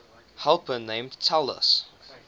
helper named talus